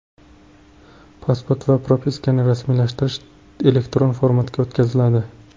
Pasport va propiskani rasmiylashtirish elektron formatga o‘tkaziladi.